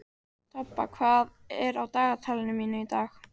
Tobba, hvað er á dagatalinu mínu í dag?